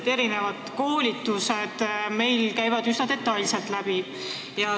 Igasugused koolitused käivad meil üsna detailselt aruteludelt läbi.